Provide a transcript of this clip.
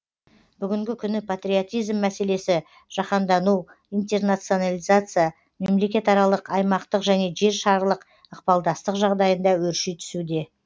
бүгінгі күні патриотизм мәселесі жаһандану интернационализация мемлекетаралық аймақтық және жер шарылық ықпалдастық жағдайында өрши түсуде